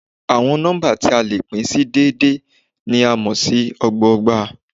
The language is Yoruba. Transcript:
Àwọn nọ́mbà tí a lè pín sí déédé ni a mo si ọgbọgba.